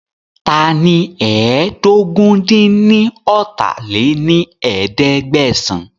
Taani ẹ́ẹdógún-dín-ní-ọ́ta lé ní ẹ̀ẹ́dẹ́gbẹ́sán